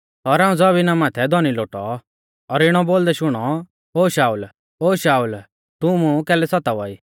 और हाऊं ज़मीना माथै धौनी लोटौ और इणौ बोलदै शुणौ ओ शाऊल ओ शाऊल तू मुं कैलै सतावा ई